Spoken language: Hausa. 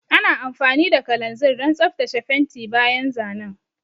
Ana amfani da kalanzir don tsaftace fenti bayan zanen.